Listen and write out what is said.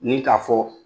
Ni k'a fɔ